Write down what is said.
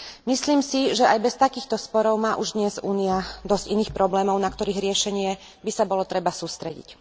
Myslím si, že aj bez takýchto sporov má už dnes Únia dosť iných problémov, na ktorých riešenie by sa bolo treba sústrediť.